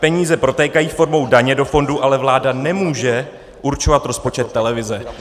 Peníze protékají formou daně do fondů, ale vláda nemůže určovat rozpočet televize.